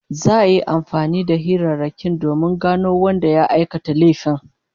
Za'a yi amfani da hirarrakin domin gano wanda ya aikata laifin